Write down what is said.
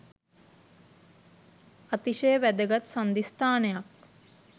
අතිශය වැදගත් සංධිස්ථානයක්